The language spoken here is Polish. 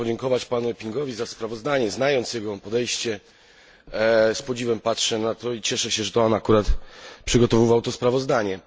Chciałbym podziękować panu Eppinkowi za sprawozdanie. Znając jego podejście, z podziwem patrzę na to i cieszę się, że to on akurat przygotowywał to sprawozdanie.